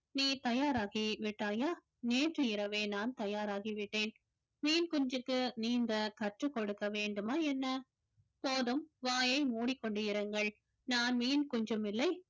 நீ தயாராகி விட்டாயா நேற்று இரவே நான் தயாராகி விட்டேன் மீன் குஞ்சுக்கு நீந்த கற்றுக் கொடுக்க வேண்டுமா என்ன போதும் வாயை மூடிக்கொண்டு இருங்கள் நான் மீன் குஞ்சும் இல்லை